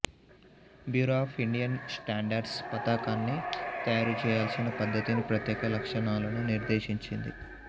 bureau of Indian Standards పతాకాన్ని తయారుచేయాల్సిన పద్ధతిని ప్రత్యేక లక్షణాలను నిర్దేశించింది